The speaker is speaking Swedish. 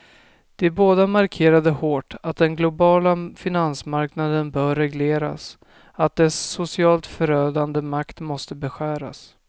De båda markerade hårt att den globala finansmarknaden bör regleras, att dess socialt förödande makt måste beskäras.